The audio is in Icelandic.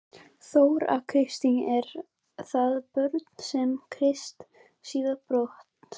Þóra Kristín: Eru það börnin sem að tilkynna slíka atburði?